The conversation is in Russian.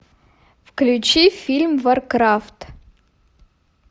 включи фильм варкрафт